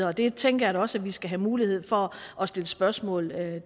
og det tænker jeg da også at vi skal have mulighed for at stille spørgsmål